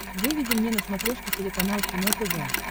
выведи мне на смотрешке телеканал кино тв